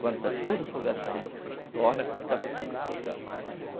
Quando está tudo afogado, torna a corta para tornar afogar.